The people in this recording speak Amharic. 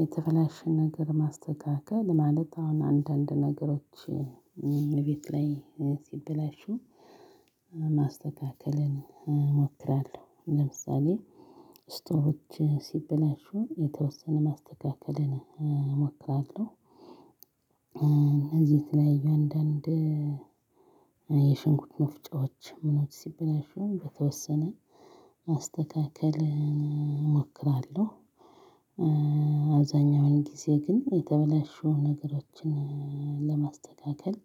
የተበላሸ ነገር ማስተካከል ማለት አሁን አንዳንድ ነገሮች እቤት ላይ ሲበላሹ ማስተካከልን እሞክራለሁ። ለምሳሌ ስቶቮች ሲበላሹ የተወሰነ ማስተካከልን እሞክራለሁ። እነዚህ የተለያዩ አንዳንድ የሽንኩርት መፍጫዎች ሲበላሹ በተወሰነ ማስተካከልን አሞክራለሁ። አብዛኛውን ጊዜ ግን የተበላሹ ነገሮችን ለማስተካከል